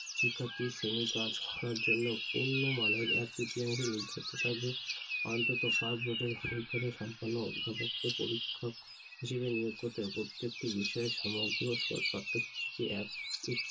ব্যবস্থা করবে উচ্চ শিক্ষা ক্ষেত্রে শিক্ষার সময় শিক্ষার্থী শ্রেণীর কাজ করার জন্য অন্য মানের এক-তৃতীয়াংশ নির্ধারিত থাকবে অন্তত পাঁচ বছরের অভিজ্ঞতাসম্পন্ন অভিভাবক কে পরীক্ষক হিসেবে নিয়োগ করতে হবে প্রত্যেকটি বিষয়ে সমগ্র পাঠ্যসূচিকে এক একটি